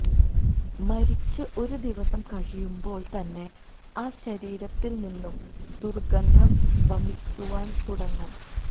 മരിച്ച് ഒരു ദിവസം കഴിയുമ്പോൾത്തന്നെ ആ ശരീരത്തിൽനിന്ന് ദുർഗന്ധം വമിക്കുവാൻ തുടങ്ങും